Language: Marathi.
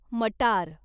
मटार